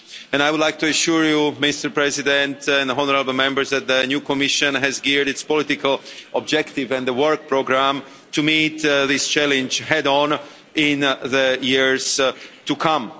I would like to assure you, Mr President and honourable Members, that the new Commission has geared its political objective and the Work Programme to meet this challenge head-on in the years to come.